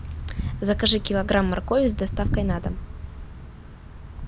закажи килограмм моркови с доставкой на дом